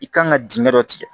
I kan ka dingɛ dɔ tigɛ